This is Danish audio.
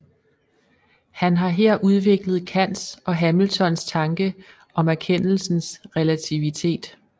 Han har her udviklet Kants og Hamiltons tanke om erkendelsens relativitet